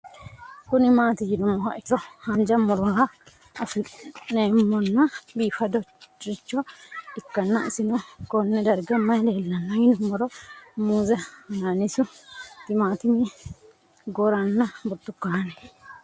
Kuni mati yinumoha ikiro hanja murowa afine'mona bifadoricho ikana isino Kone darga mayi leelanno yinumaro muuze hanannisu timantime gooranna buurtukaane